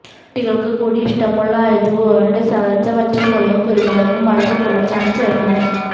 കുട്ടികൾക്ക് കൂടി ഇഷ്ടമുള്ള ആയത്കൊണ്ട് ചതച്ച വറ്റൽമുളകും കുരുമുളകും അളവ് കുറച്ചാണ് ചേർക്കുന്നെ